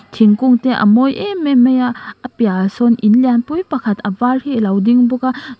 thingkung te a mawi em em mai a a piah ah sawn in lianpui pakhat a var hi alo ding bawk a chuan--